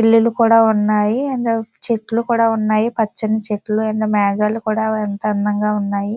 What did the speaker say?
ఇల్లు కూడా ఉన్నాయి. అండ్ చెట్లు కూడా ఉన్నాయి. పచ్చని చెట్లు. అండ్ మేఘాలు కూడా ఎంతో అందంగా ఉన్నాయి.